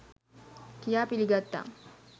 කියා පිළිගත්තා.